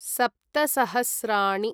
सप्त सहस्राणि